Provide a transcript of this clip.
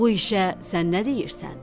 Bu işə sən nə deyirsən?